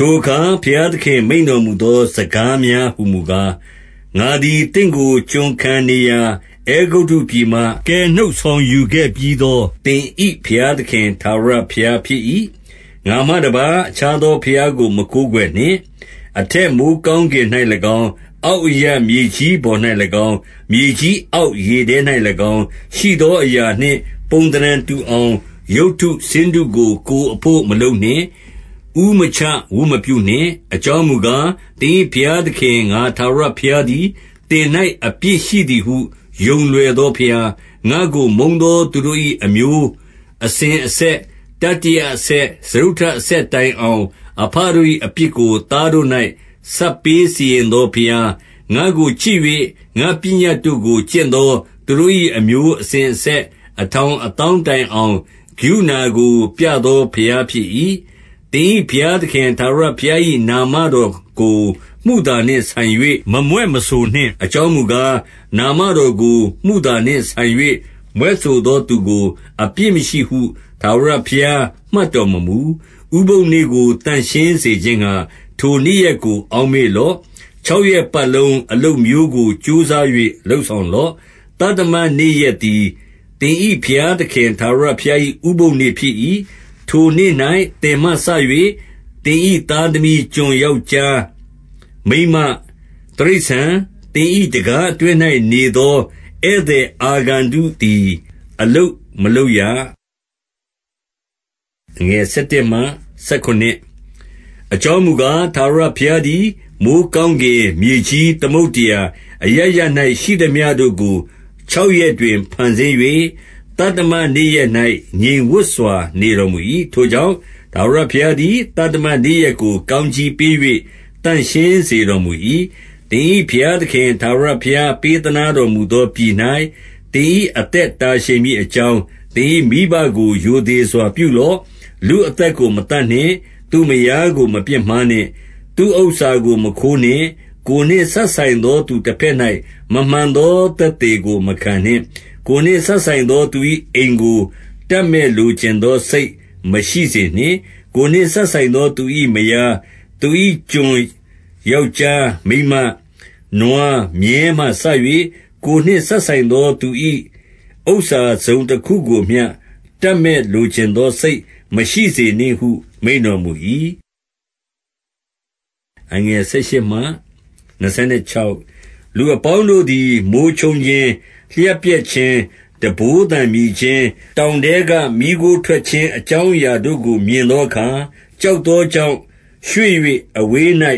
ထိုအခါ ဘုရားသခင် မိန့်တော်မူသော စကားများဟူမူကား၊ ငါသည် သင့်ကို ကျွန်ခံနေရာ အဲဂုတ္တုပြည်မှ ကယ်နှုတ်ဆောင်ယူခဲ့ပြီးသော သင်၏ဘုရားသခင် ထာဝရဘုရားဖြစ်၏။ ငါမှတပါး အခြားသောဘုရားကို မကိုးကွယ်နှင့်။ အထက်မိုဃ်းကောင်းကင်၌၎င်း၊ အောက်အရပ် မြေကြီးပေါ်၌၎င်း၊ မြေကြီးအောက်ရေထဲ၌၎င်း ရှိသော အရာနှင့် ပုံသဏ္ဌာန်တူအောင်၊ ရုပ်တုဆင်းတုကို ကိုယ်အဘို့မလုပ်နှင့်။ ဦးမချဝတ်မပြုနှင့်။ အကြောင်းမူကား၊ သင်၏ဘုရားသခင် ငါထာဝရဘုရားသည်၊ သင်၌အပြစ်ရှိသည် ဟု ယုံလွယ်သောဘုရား၊ ငါ့ကို မုန်းသောသူတို့၏ အမျိုးအစဉ်အဆက်၊ တတိယအဆက်၊ စတုတ္ထအဆက် တိုင်အောင်၊ အဘတို့၏ အပြစ်ကို သားတို့၌ ဆပ်ပေးစီရင်သောဘုရား၊ ငါ့ကိုချစ်၍ ငါ့ပညတ်တို့ကို ကျင့်သောသူတို့၏ အမျိုးအစဉ်အဆက် အထောင်အသောင်းတိုင်အောင်၊ ကရုဏာကို ပြသော ဘုရားဖြစ်၏။ သင်၏ဘုရားသခင် ထာဝရဘုရား၏ နာမတော်ကို မုသာနှင့်ဆိုင်၍ မမြွက်မဆိုနှင့်။ အကြောင်းမူကား၊ နာမတော်ကို မုသာနှင့်ဆိုင်၍ မြွက်ဆိုသောသူကို အပြစ်မရှိဟု ထာဝရဘုရား မှတ်တော်မမူ။ ဥပုသ်နေ့ကို သန့်ရှင်းစေခြင်းငှာ၊ ထိုနေ့ရက်ကို အောက်မေ့လော့။ ခြောက်ရက်ပတ်လုံး အလုပ်မျိုးကို ကြိုးစား၍ လုပ်ဆောင်လော့။ သတ္တမနေ့ရက်သည် သင်၏ဘုရားသခင် ထာဝရဘုရား၏ ဥပုသ်နေ့ဖြစ်၏။ ထိုနေ့၌ သင်မှစ၍ သင်၏သားသမီး၊ ကျွန်ယောက်ျား မိန်းမ၊ တိရစ္ဆာန်၊ သင်၏ တံခါးအတွင်း၌နေသော ဧည့်သည်အာဂန္တုသည် အလုပ်မလုပ်ရ။ အကြောင်းမူကား၊ ထာဝရဘုရားသည် မိုဃ်းကောင်းကင်၊ မြေကြီး၊ သမုဒ္ဒရာ၊ အရပ်ရပ်၌ရှိသမျှတို့ကို ခြောက်ရက်တွင် ဖန်ဆင်း၍ သတ္တမနေ့ရက်၌ ငြိမ်ဝပ်စွာနေတော်မူ၏။ ထိုကြောင့် ထာဝရဘုရားသည် သတ္တမနေ့ရက်ကို ကောင်းကြီးပေး၍ သန့်ရှင်းစေတော်မူ၏။ သင်၏ဘုရားသခင် ထာဝရဘုရား ပေးသနားတော်မူသောပြည်၌ သင်၏အသက်တာ ရှည်မည် အကြောင်း၊ သင်၏မိဘကို ရိုသေစွာပြုလော့။ လူအသက်ကို မသတ်နှင့်။ သူ့မယားကို မပြစ်မှားနှင့်။ သူ့ဥစ္စာကို မခိုးနှင့်။ ကိုယ်နှင့်စပ်ဆိုင်သောသူတဘက်၌ မမှန်သောသက်သေကို မခံနှင့်။ ကိုယ်နှင့်စပ်ဆိုင်သောသူ၏ အိမ်ကို တပ်မက်လိုချင်သောစိတ်မရှိစေနှင့်။ ကိုယ်နှင့်စပ်ဆိုင်သောသူ၏ မယား၊ သူ၏ကျွန် ယောက်ျား မိန်းမ၊ နွား၊ မြည်းမှစ၍ ကိုယ်နှင့်စပ်ဆိုင်သောသူ၏ ဥစ္စာ တစုံတခုကိုမျှ တပ်မက်လိုချင်သောစိတ် မရှိစေနှင့်ဟု မိန့်တော်မူ၏။ လူအပေါင်းတို့သည် မိုဃ်းချုန်းခြင်း၊ လျှပ်ပြက်ခြင်း၊ တံပိုးသံမြည်ခြင်း၊ တောင်ထဲကမီးခိုးထွက်ခြင်း အကြောင်းအရာတို့ကို မြင်သောအခါ၊ ကြောက်သောကြောင့် ရွှေ့၍ အဝေး၌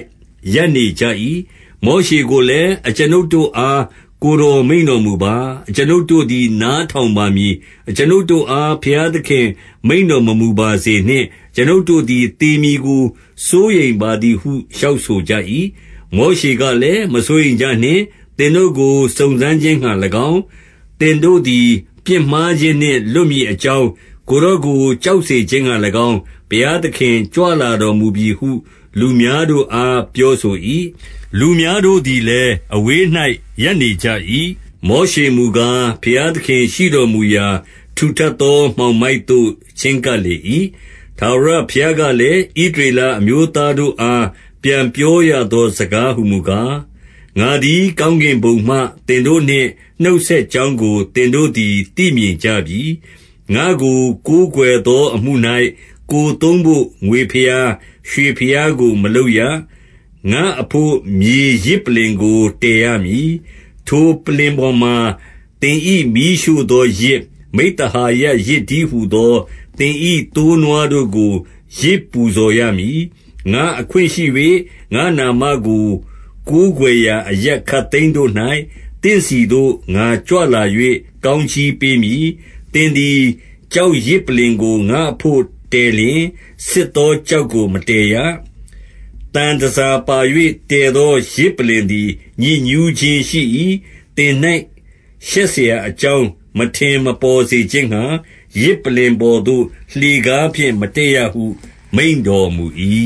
ရပ်နေကြ၏။ မောရှေကိုလည်း၊ အကျွန်ုပ်တို့အား ကိုယ်တော်မိန့်တော်မူပါ၊ အကျွန်ုပ်တို့သည် နားထောင်ပါမည်။ အကျွန်ုပ်တို့အား ဘုရားသခင်မိန့်တော်မမူပါစေနှင့်။ အကျွန်ုပ်တို့သည် သေမည်ကို စိုးရိမ်ပါသည်ဟု လျှောက်ဆိုကြ၏။ မောရှေကလည်း၊ မစိုးရိမ်ကြနှင့်။ သင်တို့ကို စုံစမ်းခြင်းငှာ၎င်း၊ သင်တို့သည် ပြစ်မှားခြင်းနှင့် လွတ်မည်အကြောင်း ကိုယ်တော်ကို ကြောက်စေခြင်းငှာ၎င်း၊ ဘုရားသခင်ကြွလာတော်မူပြီဟု လူများတို့အား ပြောဆို၏။ လူများတို့သည်လည်း အဝေး၌ ရပ်နေကြ၏။ မောရှေမူကား၊ ဘုရားသခင်ရှိတော်မူရာ ထူထပ်သော မှောင်မိုက်သို့ ချဉ်းကပ်လေ၏။ ထာဝရဘုရားကလည်း၊ ဣသရေလအမျိုးသားတို့အား ပြန်ပြောရသော စကားဟူမူကား၊ ငါသည် ကောင်းကင်ဘုံမှ သင်တို့နှင့် နှုတ်ဆက်ကြောင်းကို သင်တို့သည် သိမြင်ကြပြီ။ ငါ့ကို ကိုးကွယ်သောအမှု၌ ကိုယ်သုံးဘို့ ငွေဘုရား၊ ရွှေဘုရားကို မလုပ်ရ။ ငါ့အဘို့ မြေယဇ်ပလ္လင်ကို တည်ရမည်။ ထိုပလ္လင်ပေါ်မှာ သင်၏မီးရှို့သောယဇ်၊ မိဿဟာယယဇ် တည်းဟူသော သင်၏သိုးနွားတို့ကို ယဇ်ပူဇော်ရမည်။ ငါ့အခွင့်ရှိ၍၊ ငါ့နာမကို ကိုးကွယ်ရာအရပ်ခပ်သိမ်းတို့၌၊ သင့်ဆီသို့ ငါကြွလာ၍ ကောင်းကြီးပေးမည်။ သင်သည် ကျောက်ယဇ်ပလ္လင်ကို ငါ့အဘို့ တည်လျှင်၊ ဆစ်သောကျောက်ကို မတည်ရ။ သံတန်ဆာပါ၍ တည်သောယဇ်ပလ္လင်သည် ညစ်ညူးခြင်းရှိ၏။ သင်၌ ရှက်စရာအကြောင်း မထင်မပေါ်စေခြင်းငှာ၊ ယဇ်ပလ္လင်ပေါ်သို့ လှေကားဖြင့် မတက်ရဟု မိန့်တော်မူ၏။